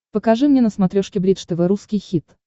покажи мне на смотрешке бридж тв русский хит